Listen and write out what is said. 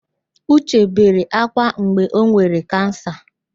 Uche bere ákwá mgbe o nwere kansa.